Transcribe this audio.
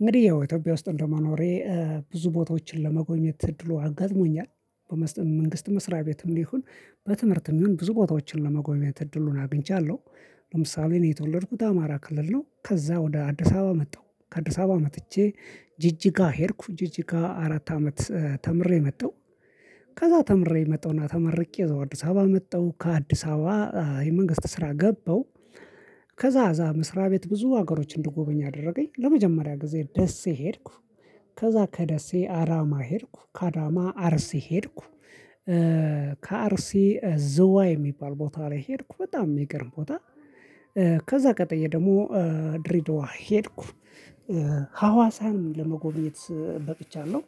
እንግዲህ ያው ኢትዮጵያ ውስጥ እንደመኖሬ ብዙ ቦታዎችን ለመጎኘት እድሉ አጋጥሞኛል። በመንግስት መስሪያ ቤትም ይሁን በትምህርትም ይሁን ብዙ ቦታዎችን ለመጎብኘት እድሉን አግኝቻለሁ። ለምሳሌ እኔ የተወለድኩት አማራ ክልል ነው። ከዛ ወደ አዲስ አባባ መጣሁ ከአደስ አበባ መጥቼ። ጅጅጋ ሄድኩ ጅጅጋ አራት አመት ተምሬ መጣሁ። ከዛ ተምሬ መጣሁና ተመርቄ እዛው አዲስ አበባ መጣሁ ከአዲስ አበባ የመንግስት ስራ ገባው። ከዛ አዛ መስሪያ ቤት ብዙ ሀገሮች እንድጎበኝ አደረገኝ ለመጀመሪያ ጊዜ ደሴ ሄድኩ። ከዛ ከደሴ አዳማ ሄድኩ ከአዳማ አርሴ ሄድኩ። ከአርሲ ዝዋይ የሚባል ቦታ ላይ ሄድኩ በጣም የሚቀርብ ቦታ። ከዛ ቀጥዬ ደግሞ ድሬድዋ ሄድኩ። ሀዋሳን ለመጎብኘት በቅቻለሁ።